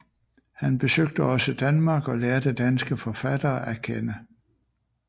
Han besøgte også Danmark og lærte danske forfattere at kende